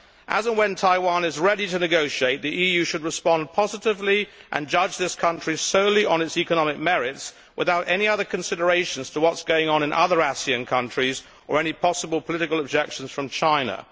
As and when Taiwan is ready to negotiate, the EU should respond positively and judge this country solely on its economic merits, without taking into consideration what is going on in other ASEAN countries or any possible political objections from China.